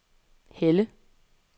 Helle